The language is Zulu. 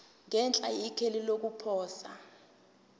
ngenhla ikheli lokuposa